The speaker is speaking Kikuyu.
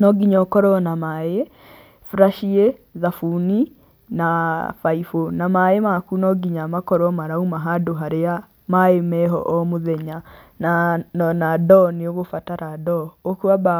No nginya ũkorwo na maĩ, buraciĩ, thabuni na baibũ na maĩ maku no nginya makorwo marauma handũ harĩa maĩ meho o mũthenya, naa ona ndoo, nĩ ũgũbatara ndoo. Ũkwamba